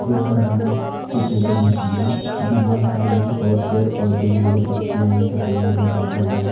ये घर बना है सफेद रंग की है दीवाल खड़े हैं और पेड़ पोधे हैं हरी पत्तियां हैं सफेद नीला बादल है।